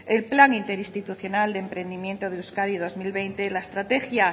el plan interinstitucional de emprendimiento de euskadi dos mil veinte la estrategia